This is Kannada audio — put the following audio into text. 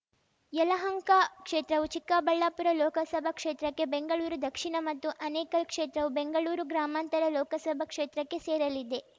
ಯಲಹಂಕ ಕ್ಷೇತ್ರವು ಚಿಕ್ಕಬಳ್ಳಾಪುರ ಲೋಕಸಭಾ ಕ್ಷೇತ್ರಕ್ಕೆ ಬೆಂಗಳೂರು ದಕ್ಷಿಣ ಮತ್ತು ಆನೇಕಲ್‌ ಕ್ಷೇತ್ರವು ಬೆಂಗಳೂರು ಗ್ರಾಮಾಂತರ ಲೋಕಸಭಾ ಕ್ಷೇತ್ರಕ್ಕೆ ಸೇರಲಿದೆ